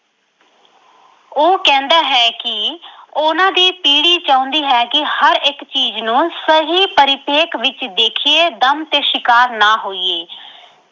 ਉਹ ਕਹਿੰਦਾ ਹੈ ਕਿ ਉਹਨਾਂ ਦੀ ਪੀੜ੍ਹੀ ਚਾਹੁੰਦੀ ਹੈ ਕਿ ਹਰ ਇੱਕ ਚੀਜ਼ ਨੂੰ ਸਹੀ ਪਰਿਪੇਖ ਵਿੱਚ ਦੇਖੀਏ ਦਮ ਤੇ ਸ਼ਿਕਾਰ ਨਾ ਹੋਈਏ।